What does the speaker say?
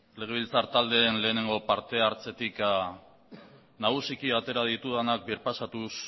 legebiltzar taldeen lehenengo parte hartzetik nagusiki atera ditudanak birpasatuz